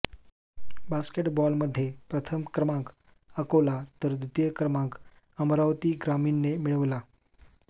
बॉस्केटबॉलमध्ये प्रथम क्रमांक अकोला तर द्वितीय क्रमांक अमरावती ग्रामीणने मिळविला